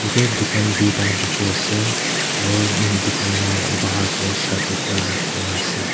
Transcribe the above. Yate dukan doita dekhi ase aro dukan la bahar tey shirt ekta rakhi kena ase.